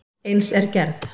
Eins er gerð